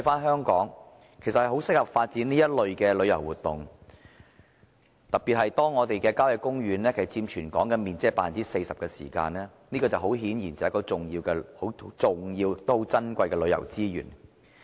香港十分適合發展這類旅遊活動，特別是我們的郊野公園佔全港面積 40%， 是十分重要而且珍貴的旅遊資源。